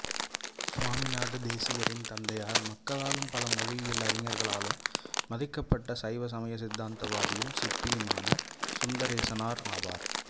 சுவாமிநாத தேசிகரின் தந்தையார் மக்களாலும் பல மொழியியல் அறிஞர்களாலும் மதிக்கப்பட்ட சைவ சமய தத்துவவாதியும் சிற்பியுமான சுந்தரேசனார் ஆவார்